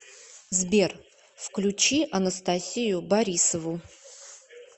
сбер включи анастасию борисову